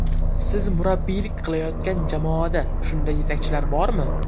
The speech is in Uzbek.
Siz murabbiylik qilayotgan jamoada shunday yetakchilar bormi?